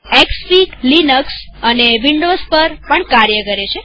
Xfig Linux અને Windows પર પણ કામ કરે છે